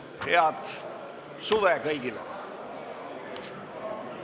Head suve kõigile!